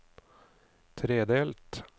tredelt